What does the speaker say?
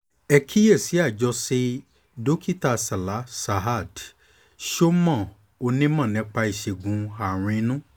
ẹ kíyèsí i àjọṣe dókítà salah saad shoman onímọ̀ nípa ìṣègùn àárùn inú